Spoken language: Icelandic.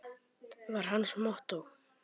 var hans mottó.